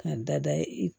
K'a dada i